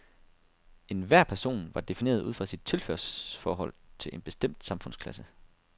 Enhver person var defineret ud fra sit tilhørsforhold til en bestemt samfundsklasse.